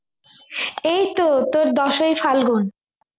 এইতো তোর দশই ফাল্গুন